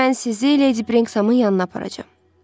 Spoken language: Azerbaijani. Sonra mən sizi Lady Brixamın yanına aparacam.